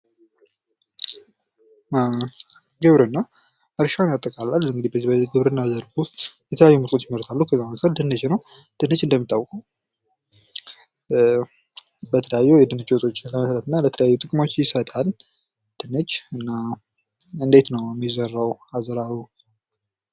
ግብርና እርሻን ያጠቃልላል። በዚህ ግብርና ዘርፍ ውስጥ የተለያዩ ምርቶች ይመረታሉ። ከዛ መካከል አንዱ ድንች ነው። ድንች እንደምታውቁት በተለያዩ የድንች ወጦች አይነታት እና የተለያዩ ጥቅሞች ይሰጣል። ድንች እና እንዴት ነው የሚዘራው አዘራሩ?